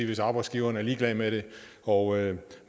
hvis arbejdsgiveren er ligeglad med det og